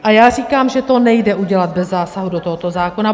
A já říkám, že to nejde udělat bez zásahu do tohoto zákona.